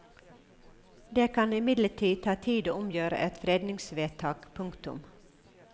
Det kan imidlertid ta tid å omgjøre et fredningsvedtak. punktum